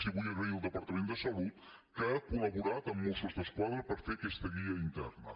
i vull agrair al departament de salut que ha col·laborat amb mossos d’esquadra per fer aquesta guia interna